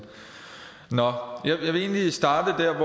nå jeg vil egentlig starte